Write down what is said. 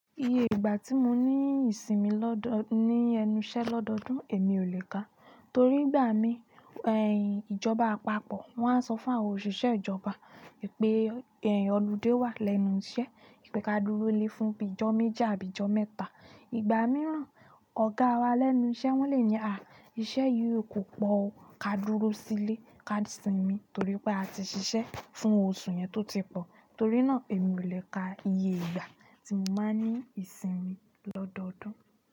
Iye ìgbà tí mo ní ìsinmi lọ́dọ̀ ní ẹnu iṣẹ́ lọ́dọọ́dún, èmi ò lè kà, torí ìgbà mi ìjọba àpapọ̀ wọ́n á sọ fún àwa òṣìṣẹ́ ìjọba wipé ọludé wà lẹ́nu iṣẹ́, pé ka dúró lé fún bi ijó méjì àbí ijó mẹ́ta. Ìgbà mìíràn ọ̀gá wa lẹ́nu iṣẹ́ wọ́n le ní "à, iṣẹ́ yìí kò pọ̀ o, ka dúró sílé, ka sinmi torí pé a ti ṣiṣẹ́ fún oṣù yẹn tó ti pọ̀." Torí náà èmi ò lè ka iye ìgbà tí mo máa n ní ìsinmi lọ́dọọ́dún.